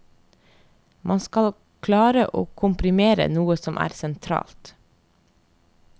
Man skal klare å komprimere noe som er sentralt.